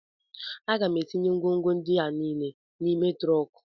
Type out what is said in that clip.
M ga-etinye ngwongwo ndị a niile n'ime trọnk